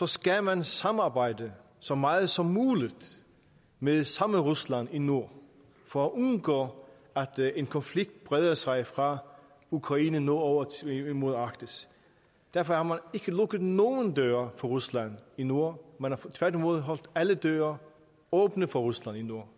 skal man samarbejde så meget som muligt med det samme rusland i nord for at undgå at en konflikt breder sig fra ukraine og nordover mod arktis derfor har man ikke lukket nogen døre for rusland i nord man har tværtimod holdt alle døre åbne for rusland i nord